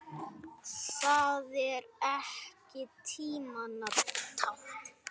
Er það ekki tímanna tákn?